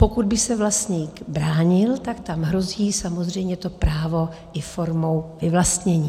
Pokud by se vlastník bránil, tak tam hrozí samozřejmě to právo i formou vyvlastnění.